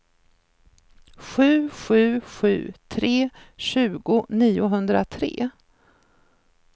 sju sju sju tre tjugo niohundratre